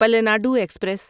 Palnadu express